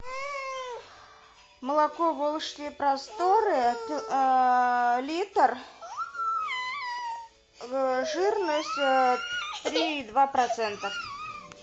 молоко волжские просторы литр жирность три и два процента